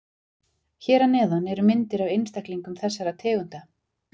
Hér að neðan eru myndir af einstaklingum þessara tegunda.